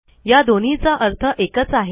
या दोन्हीचा अर्थ एकच आहे